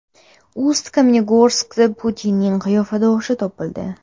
Ust-Kamenogorskda Putinning qiyofadoshi topildi.